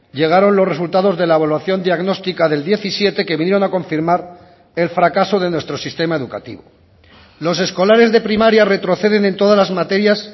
llegaron los resultados de la evaluación diagnóstica del diecisiete que vinieron a confirmar el fracaso de nuestro sistema educativo los escolares de primaria retroceden en todas las materias